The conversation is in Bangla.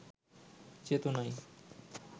চেতনায়